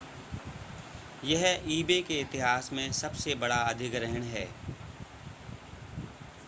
यह ebay के इतिहास में सबसे बड़ा अधिग्रहण है